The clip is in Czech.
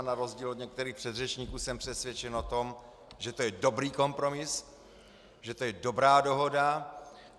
A na rozdíl od některých předřečníků jsem přesvědčen o tom, že to je dobrý kompromis, že to je dobrá dohoda.